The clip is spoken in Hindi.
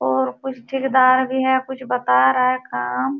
और कुछ ठीकेदार भी है कुछ बता रहा है काम।